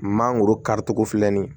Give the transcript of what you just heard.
Mangoro karicogo filɛ nin ye